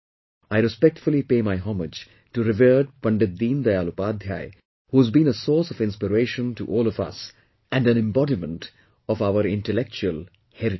I respectfully pay my homage to revered Pandit Deen Dayal Upadhyay, who has been a source of inspiration to all of us, and an embodiment of our intellectual heritage